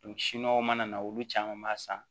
mana na olu caman b'a san